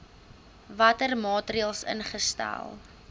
watter maatreëls ingestel